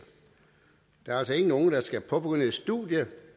der er altså ikke nogen der skal påbegynde et studie